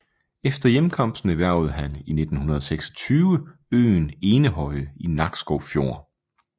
Efter hjemkomsten erhvervede han i 1926 øen Enehøje i Nakskov Fjord